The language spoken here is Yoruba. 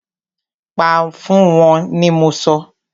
Pa fún wọ́n ni mọ sọ!